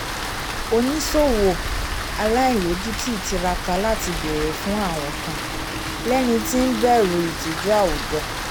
oniṣowo aláìlójutì tíráká láti béèrè fun awìn kàn lẹni tí n bẹru itiju àwùjọ